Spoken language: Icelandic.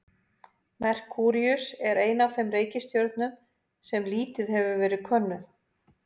Merkúríus er ein af þeim reikistjörnum sem hefur lítið verið könnuð.